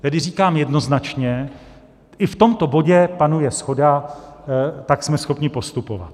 Tedy říkám jednoznačně, i v tomto bodě panuje shoda, tak jsme schopni postupovat.